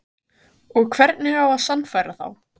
Og hvernig á að sannfæra þá?